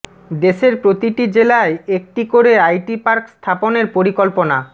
দেশের প্রতিটি জেলায় একটি করে আইটি পার্ক স্থাপনের পরিকল্পনা